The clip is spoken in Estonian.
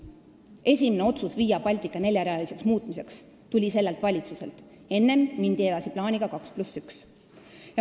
Esimene otsus Via Baltica neljarealiseks muutmiseks tuli sellelt valitsuselt, enne mindi edasi plaaniga 2 + 1.